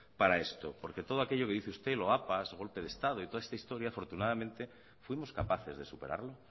para esto porque todo aquello que dice usted loapas golpe de estado y toda esta historia afortunadamente fuimos capaces de superarlo